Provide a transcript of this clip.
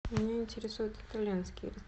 меня интересуют итальянские